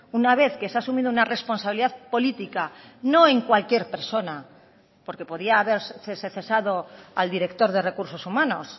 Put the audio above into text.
una vez que se ha asumido una responsabilidad política no en cualquier persona porque podía haberse cesado al director de recursos humanos